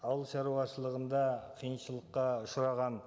ауылшаруашылығында қиыншылыққа ұшыраған